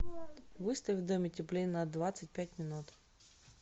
выставь в доме теплее на двадцать пять минут